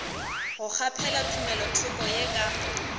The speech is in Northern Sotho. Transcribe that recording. go kgaphela tumelothoko ye ka